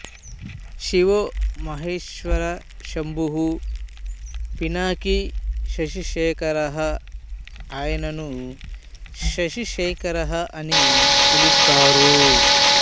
శివో మహేశ్వరశ్శంభుః పినాకీ శశిశేఖరః ఆయనను శశిశేఖరః అని పిలుస్తారు